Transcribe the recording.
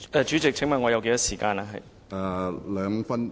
主席，請問我有多少時間發言？